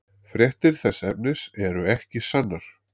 Fréttir þess efnis eru ekki sannar.